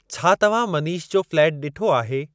छा तव्हां मनीष जो फ्लैट ॾिठो आहे?